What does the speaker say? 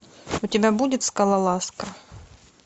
у тебя будет скалолазка